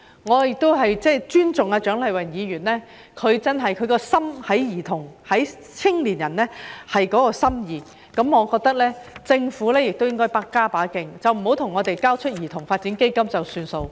我尊重蔣麗芸議員對兒童和青年人的心意，我認為政府亦應該加把勁，不要向我們交出兒童發展基金便作罷。